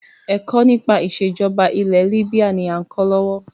Ẹ̀kọ́ nípa ìsèjọba ilẹ̀ libya ni a ń kọ́ lọ́wọ́.